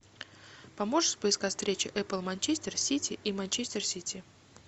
поможешь поискать встречу апл манчестер сити и манчестер сити